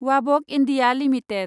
वाबक India limited